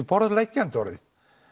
borðleggjandi orðið